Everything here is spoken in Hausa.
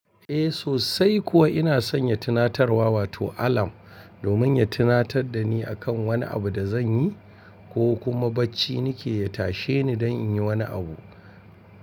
Eh sosai kuwa ina sanya tunatar wa wato alarm domin ya tunatar da ni akan wani abu da zanyi ko kuma bacci nike ya tashe ni don in yi wani abu.